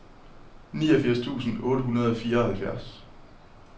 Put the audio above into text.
niogfirs tusind otte hundrede og fireoghalvfjerds